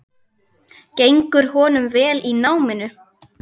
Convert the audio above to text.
Gengur honum vel í náminu?